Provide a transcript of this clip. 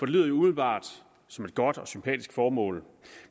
lyder jo umiddelbart som et godt og sympatisk formål